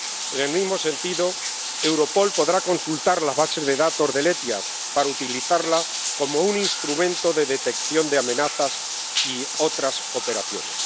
En el mismo sentido, Europol podrá consultar las bases de datos del SEIAV para utilizarlas como un instrumento de detección de amenazas y otras operaciones.